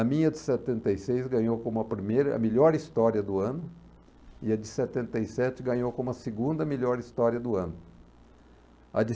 A minha de setenta e seis ganhou como a primeira, a melhor história do ano, e a de setenta e sete ganhou como a segunda melhor história do ano. A de